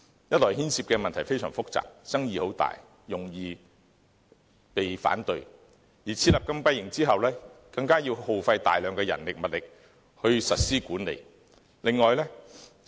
一來牽涉的問題非常複雜，爭議很大，容易遇到反對，而設立禁閉營之後，更要耗費大量人力物力去管理。